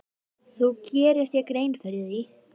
Þú gerir þér grein fyrir því.